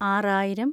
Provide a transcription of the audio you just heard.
ആറായിരം